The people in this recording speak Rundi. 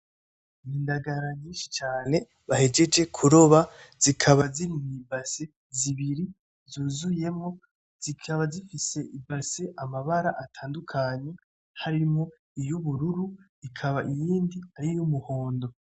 Indagara nyishi cane bahejeje kuroba zikaba ziri mw'ibassin zibiri zuzuyemwo, zikaba zifise ibassin amabara atandukanye, harimwo iyuburu hakaba iyindi ari yumuhondo.